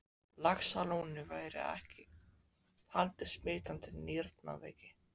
Laxalóni væri alls ekki haldinn smitandi nýrnaveiki.